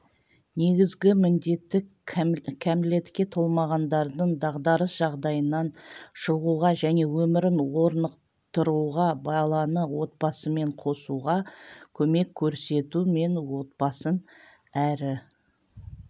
негізгі міндеті кәмелетке толмағандардың дағдарыс жағдайынан шығуға және өмірін орнықтыруға баланы отбасымен қосуға көмек көрсету мен отбасын әрі